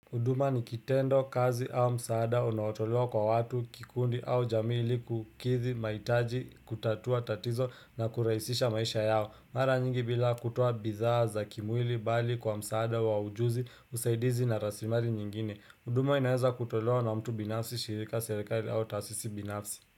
Huduma ni kitendo kazi au msaada unaotolewa kwa watu kikundi au jamii ili kukidhi mahitaji kutatua tatizo na kurahisisha maisha yao. Mara nyingi bila kutoa bizaha za kimwili bali kwa msaada wa ujuzi usaidizi na rasilimali nyingine. Huduma inaeza kutolewa na mtu binafsi shirika serikali au taasisi binafsi.